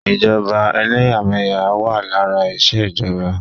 Ìjọba ẹlẹ́yàmẹ̀yà wà lára ìṣèjọba.